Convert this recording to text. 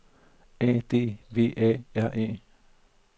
A D V A R E